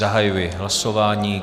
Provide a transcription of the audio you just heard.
Zahajuji hlasování.